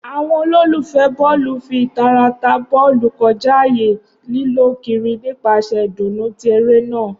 Awọn ololufẹ bọọlu fi itara ta bọọlu kọja aaye, lilọ kiri nipasẹ idunnu ti ere naa.